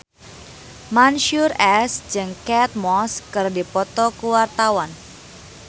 Mansyur S jeung Kate Moss keur dipoto ku wartawan